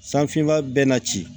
San finma bɛɛ na ci